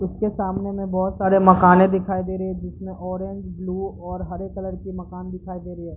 उसके सामने में बहुत सारी मकाने दिखाई दे रही है जिसमे ऑरेंज ब्लू और हरे कलर की मकान दिखाई दे रही है।